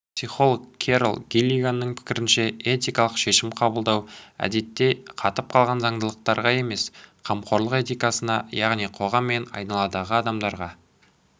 психолог керол гиллиганның пікірінше этикалық шешім қабылдау әдетте қатып қалған заңдылықтарға емес қамқорлық этикасына яғни қоғам мен айналадағы адамдарға